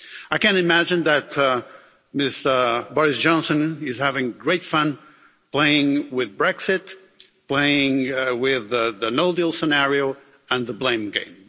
I can imagine that Mr Boris Johnson is having great fun playing with Brexit, playing with the no-deal scenario and the blame game.